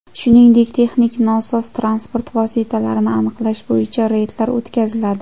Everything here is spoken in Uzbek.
Shuningdek texnik nosoz transport vositalarini aniqlash bo‘yicha reydlar o‘tkaziladi.